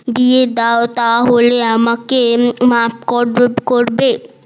সাথে বিয়ে দাও তাহলে আমাকে মাফ করবে